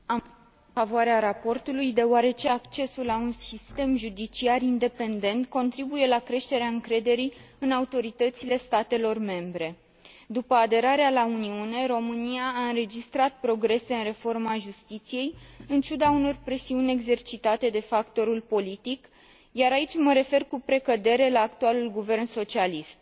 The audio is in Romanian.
Mulțumesc, domnule președinte. Am votat în favoarea raportului, deoarece accesul la un sistem judiciar independent contribuie la creșterea încrederii în autoritățile statelor membre. După aderarea la Uniune, România a înregistrat progrese în reforma justiției, în ciuda unor presiuni exercitate de factorul politic, iar aici mă refer cu precădere la actualul guvern socialist.